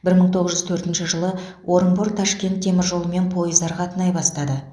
бір мың тоғыз жүз төртінші жылы орынбор ташкент теміржолымен пойыздар қатынай бастады